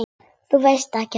Þau vita ekkert.